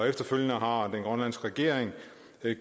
efterfølgende har den grønlandske regering